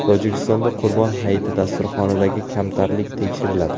Tojikistonda Qurbon hayiti dasturxonidagi kamtarlik tekshiriladi.